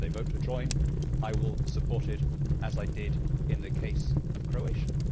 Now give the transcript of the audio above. If they vote to join, I will support it, as I did in the case of Croatia.